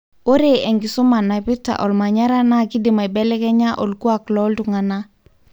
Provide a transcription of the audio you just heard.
ore enkisuma naipirta olmanyara na kidim aibelekenya olkuak lontungana.